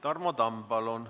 Tarmo Tamm, palun!